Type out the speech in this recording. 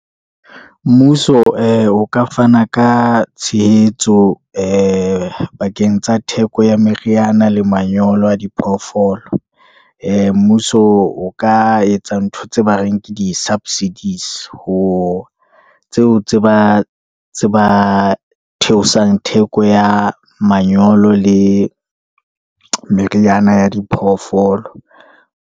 Mmuso ee o ka fana ka tshehetso, ee pakeng tsa theko ya meriana le manyolo a diphoofolo. Ee mmuso o ka etsa ntho tse ba reng ke di-subsidies-e, ho tseo tse ba theosang theko ya manyolo le meriana ya diphoofolo.